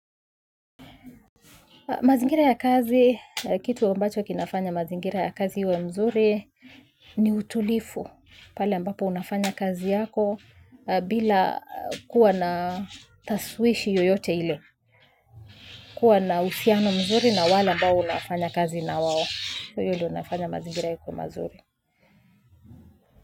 Mazingira ya kazi, kitu ambacho kinafanya mazingira ya kazi iwe mzuri ni utulivu pale ambapo unafanya kazi yako bila kuwa na tashwishi yoyote ile. Kuwa na uhusiano mzuri na wale ambao unafanya kazi na wao. Hiyo ndio inafanya mazingira yakuwe mazuri.